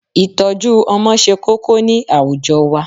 Ìtọ́jú Ọmọ se kókó ni àwùjọ wa